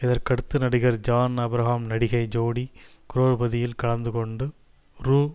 இதற்கடுத்து நடிகர் ஜான் ஆப்ரஹாம் நடிகை ஜோடி குரோர்பதியில் கலந்துகொண்டு ரூ